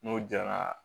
N'o jɛra